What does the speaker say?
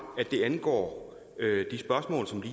at det angår